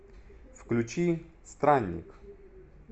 включи странник